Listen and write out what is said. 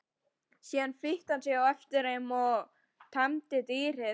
Síðan fylgdi hann þeim eftir og teymdi dýrið.